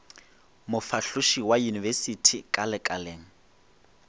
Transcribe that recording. mofahloši wa yunibesithi ka lekaleng